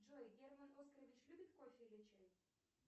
джой герман оскарович любит кофе или чай